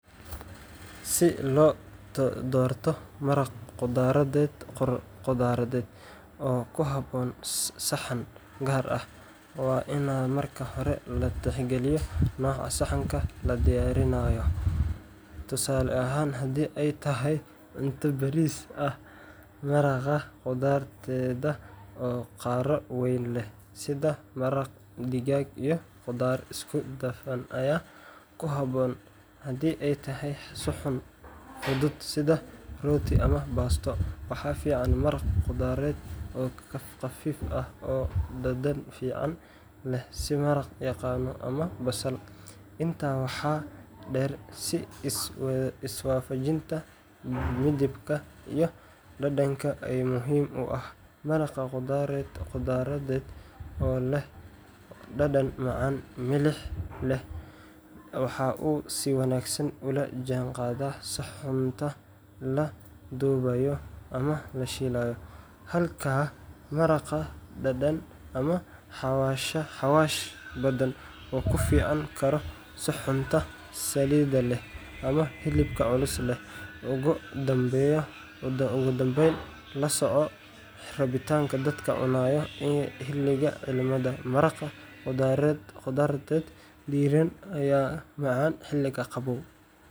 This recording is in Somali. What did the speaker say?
Si loo doorto maraq khudradeed oo ku habboon saxan gaar ah, waa in marka hore la tixgeliyaa nooca saxanka la diyaarinayo tusaale ahaan, haddii ay tahay cunto bariis ah, maraq khudradeed oo qaro weyn leh sida maraq digaag iyo khudaar isku dhafan ayaa ku habboon. Haddii ay tahay suxuun fudud sida rooti ama baasto, waxaa fiican maraq khudradeed oo khafiif ah oo dhadhan fiican leh sida maraq yaanyo ama basal. Intaa waxaa dheer, is-waafajinta midabka iyo dhadhanka ayaa muhiim u ah: maraq khudradeed oo leh dhadhan macaan-milix leh waxa uu si wanaagsan ula jaanqaadaa suxuunta la dubay ama la shiilay, halka maraq dhanaan ama xawaash badan uu ka fiicnaan karo saxuunta saliidda leh ama hilibka culus leh. Ugu dambeyn, la soco rabitaanka dadka cunaya iyo xilliga cimilada maraq khudradeed diiran ayaa ka macaan xilliga qabow.